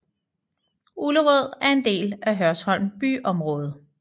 Ullerød er en del af Hørsholm byområde